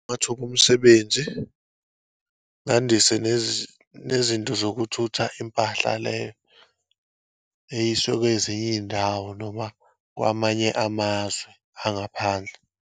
Amathuba omsebenzi, ngandise nezinto zokuthutha impahla leyo, eyiswe kwezinye iyindawo, noma kwamanye amazwe angaphandle.